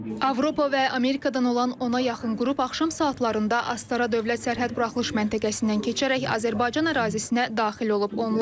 Avropa və Amerikadan olan ona yaxın qrup axşam saatlarında Astara dövlət sərhəd buraxılış məntəqəsindən keçərək Azərbaycan ərazisinə daxil olub.